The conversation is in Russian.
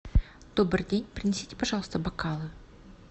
добрый день принесите пожалуйста бокалы